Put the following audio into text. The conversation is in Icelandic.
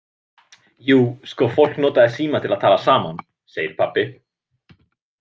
Jú, sko, fólk notaði síma til að tala saman, segir pabbi.